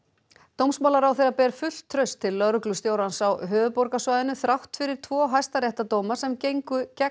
dómsmálaráðherra ber fullt traust til lögreglustjórans á höfuðborgarsvæðinu þrátt fyrir tvo hæstaréttardóma sem gengu gegn